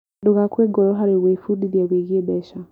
Ndũgakue ngoro harĩ gwĩbundithia wĩgiĩ mbeca.